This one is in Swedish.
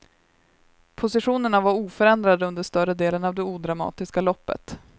Positionerna var oförändrade under större delen av det odramatiska loppet.